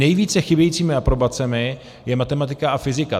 Nejvíce chybějícími aprobacemi je matematika a fyzika.